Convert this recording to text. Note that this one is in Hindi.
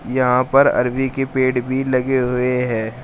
यहां पर अरबी के पेड़ भी लगे हुए हैं।